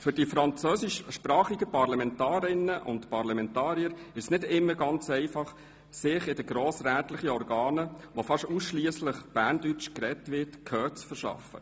Für die französischsprachigen Parlamentarierinnen und Parlamentarier ist es nicht immer ganz einfach, sich in den grossrätlichen Organen, in welchen fast ausschliesslich Berndeutsch gesprochen wird, Gehör zu verschaffen.